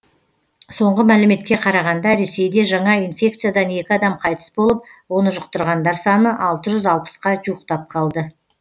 соңғы мәліметке қарағанда ресейде жаңа инфекциядан екі адам қайтыс болып оны жұқтырғандар саны алты жүз алпысқа жуықтап қалды